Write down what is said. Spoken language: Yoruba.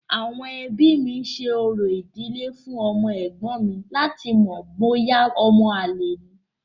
Àwọn ẹbí mi ṣe orò ìdílé fún ọmọ ẹ̀gbọ́n mi láti mọ̀ bóyá ọmọ àlè ni.